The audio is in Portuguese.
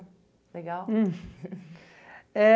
Legal? Hum eh...